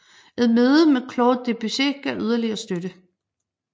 Et møde med Claude Debussy gav yderligere støtte